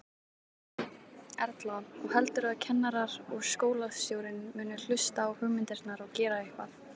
Erla: Og heldurðu að kennarar og skólastjórinn muni hlusta á hugmyndirnar og gera eitthvað?